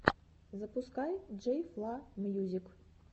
запускай джей фла мьюзик